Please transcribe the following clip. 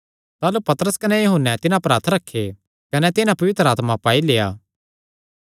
ताह़लू पतरस कने यूहन्ने तिन्हां पर हत्थ रखे कने तिन्हां पवित्र आत्मा पाई लेआ